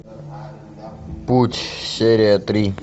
путь серия три